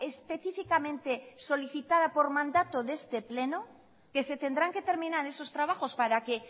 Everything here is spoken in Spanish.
específicamente solicitada por mandato de este pleno que se tendrán que terminar esos trabajos para que